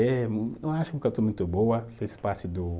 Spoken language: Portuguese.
Eh, eu acho muito boa, fez parte do